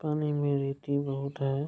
पानी में रीति बहुत है --